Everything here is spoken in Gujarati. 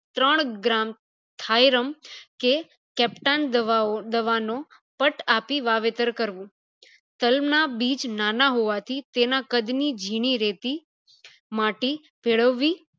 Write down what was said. ત્રણ gram કે captain દવા નો પટ આપી વાવેતર કરવું તાલ ના બીજ નાના હોવાથી તેના કદ ની જીણી રેતી માટી ભેળવવી